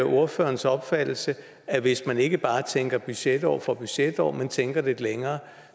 ordførerens opfattelse at hvis man ikke bare tænker budgetår for budgetår men tænker lidt længere